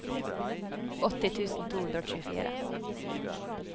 åtti tusen to hundre og tjuefire